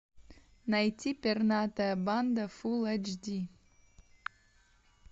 найти пернатая банда фулл эйч ди